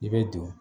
I bɛ don